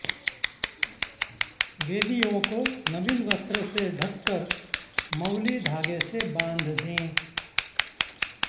वेदियों को नवीन वस्त्र से ढ़ककर मौली धागे से बांध दें